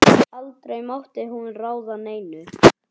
Aldrei mátti hún ráða neinu.